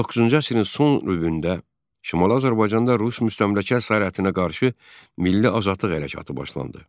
19-cu əsrin son rübündə Şimali Azərbaycanda rus müstəmləkə əsarətinə qarşı milli azadlıq hərəkatı başlandı.